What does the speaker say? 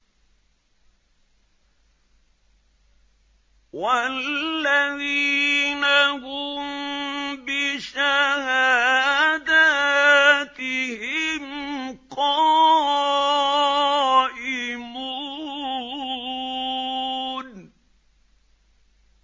وَالَّذِينَ هُم بِشَهَادَاتِهِمْ قَائِمُونَ